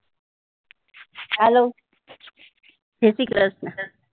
hello જય શ્રી કૃષ્ણ